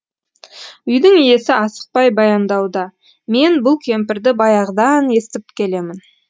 үйдің иесі асықпай баяндауда мен бұл кемпірді баяғыдан естіп келемін